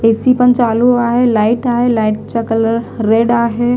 AC पण चालू आहे लाईट आहे लाईटचा कलर रेड आहे.